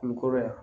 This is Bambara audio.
Kungo kɔrɔ yan